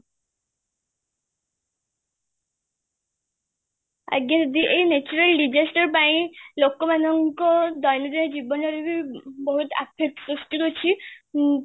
ଆଜ୍ଞା ଦିଦି ଏଇ natural disaster ପାଇଁ ଲୋକ ମାନଙ୍କ ଦୟନିୟ ଜୀବନରେବି ବହୁତ affect ସହୃଷ୍ଟି ହଉଛି ମ୍